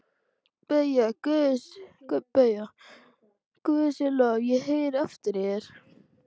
BAUJA: Guði sé lof, ég heyri aftur í þér!